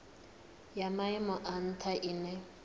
ya maimo a ntha ine